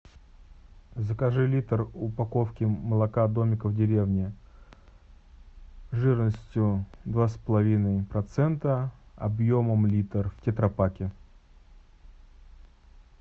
закажи литр упаковки молока домик в деревне жирностью два с половиной процента объемом литр в тетра паке